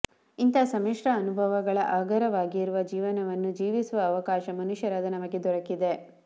ಇಂತಹ ಸಮ್ಮಿಶ್ರ ಅನುಭವಗಳ ಆಗರವಾಗಿರುವ ಜೀವನವನ್ನು ಜೀವಿಸುವ ಅವಕಾಶ ಮನುಷ್ಯರಾದ ನಮಗೆ ದೊರಕಿದೆ